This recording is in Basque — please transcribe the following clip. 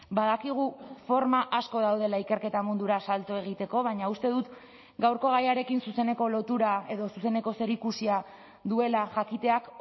badakigu forma asko daudela ikerketa mundura salto egiteko baina uste dut gaurko gaiarekin zuzeneko lotura edo zuzeneko zerikusia duela jakiteak